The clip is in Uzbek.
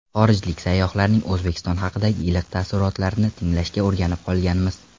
Xorijlik sayyohlarning O‘zbekiston haqidagi iliq taassurotlarini tinglashga o‘rganib qolganmiz.